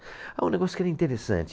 Ah um negócio que era interessante.